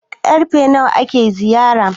karfe nawa ake ziyara?